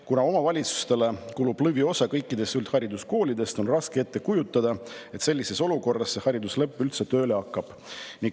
Kuna omavalitsustele kulub lõviosa kõikidest üldhariduskoolidest, on raske ette kujutada, et hariduslepe sellises olukorras üldse tööle hakkab.